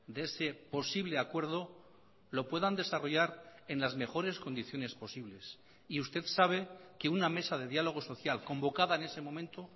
de ese posible acuerdo lo puedan desarrollar en las mejores condiciones posibles y usted sabe que una mesa de diálogo social convocada en ese momento